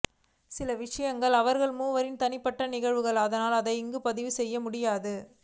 சில விஷயங்கள் அவர்கள் மூவரின் தனிப்பட்ட நிகழ்வுகள் அதனால் அதை இங்கு பதிவு செய்ய முடியாது